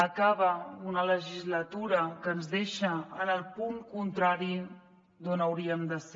acaba una legislatura que ens deixa en el punt contrari d’on hauríem de ser